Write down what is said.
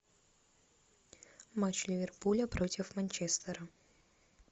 матч ливерпуля против манчестера